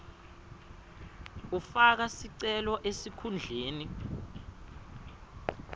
ufaka sicelo esikhundleni